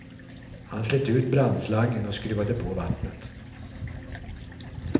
Han slet ut brandslangen och skruvade på vattnet.